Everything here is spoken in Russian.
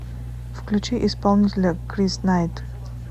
включи исполнителя крис найт